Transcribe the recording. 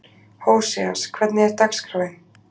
Hóseas, hvernig er dagskráin?